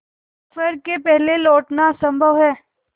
दोपहर के पहले लौटना असंभव है